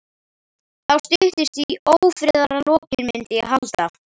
Þá styttist í ófriðarlokin, myndi ég halda.